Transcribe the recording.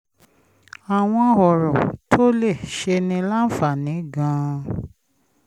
àwọn ọ̀rọ̀ tó lè ṣe ni láǹfààní gan-an